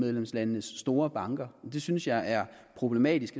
medlemslandenes store banker og det synes jeg er problematisk